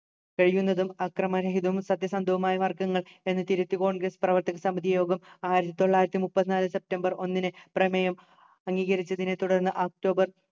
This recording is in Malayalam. കഴിയുന്നതും അക്രമരഹിതവും സത്യസന്ധവുമായ വർഗ്ഗങ്ങൾ എന്ന് തിരുത്തി congress പ്രവർത്തക സമിതി യോഗം ആയിരത്തിതൊള്ളായിരത്തിമുപ്പത്തിനാല് സെപ്റ്റംബർ ഒന്നിന് പ്രമേയം അംഗീകരിച്ചതിനെ തുടർന്ന് ഒക്ടോബർ